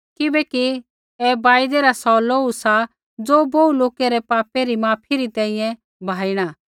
किबैकि ऐ वायदै रा सौ लोहू सा ज़ो बोहू लोकै रै पापै री माफी री तैंईंयैं बहाइणा